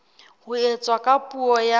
ho etswa ka puo ya